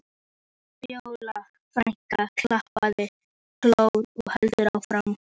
Fjóla frænka klappar Kol og heldur áfram: